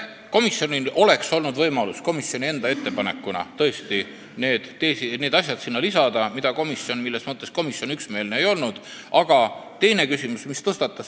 Komisjonil oleks olnud võimalus lisada sinna enda ettepanekuna need asjad, milles komisjon ei olnud üksmeelne.